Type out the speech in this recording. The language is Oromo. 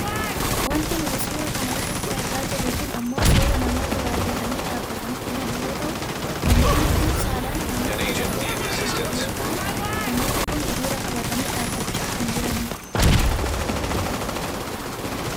Wanti nuti suura kana irratti argaa jirru kun ammoo suuraa namoota baayyatanii dhaabbatanii jiran yoo ta'u namoonni kun saalaan namoota dubartoota ta'an yoo ta'an namoonni kun hiriira qabatanii dhaabbachaa kan jiranidha.